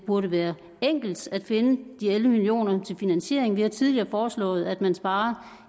burde være enkelt at finde de elleve million kroner til finansieringen vi har tidligere foreslået at man sparede